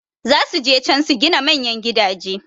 Zasu je can su gina manyan gidaje